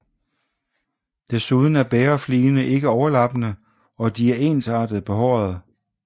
Desuden er bægerfligene ikke overlappende og de er ensartet behårede